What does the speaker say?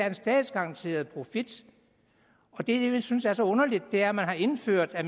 en statsgaranteret profit og det jeg synes er så underligt er at man har indført at